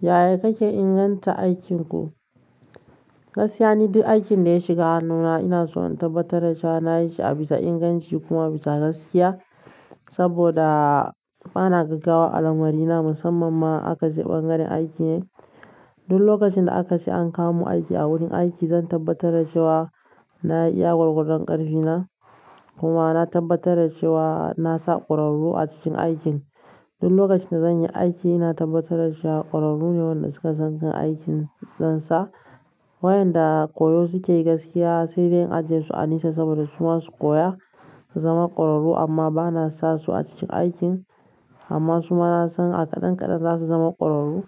Yaya kake inganta aikinku? Gaskiya ne duk aikin da ya shiga hannuna ina so in tabbatar da cewa na yi shi a bisa inganci kuma a bisa gaskiya. Saboda bana gaggawa a lamarina musamman ma aka je ɓangaren aiki ne. Duk lokacin da aka ce an kawomun aiki a wurin aiki, zan tabbatar da cewa na iya gwargwadon ƙarfi na. Kuma na tabbatar da cewa na sa ƙwararru a cikin aikin. Duk lokacin da zan yi aiki, ina tabbatar da cewa ƙwararru ne waɗanda suka san aikin ɗansa. Wayanda koyo suke yi gaskiya, sai dai in ajiye su a nisa saboda su ma su koya su zama ƙwararru amma ba na sa su a cikin aikin. Amma suma nasan a kadan kadan zasu zama kwararru